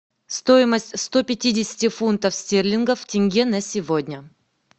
стоимость сто пятидесяти фунтов стерлингов в тенге на сегодня